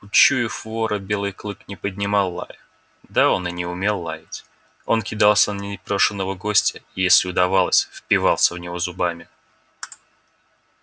учуяв вора белый клык не поднимал лая да он и не умел лаять он кидался на непрошеного гостя и если удавалось впивался в него зубами